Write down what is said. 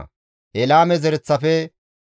Bebaye zereththafe 628;